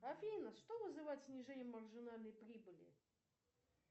афина что вызывает снижение маржинальной прибыли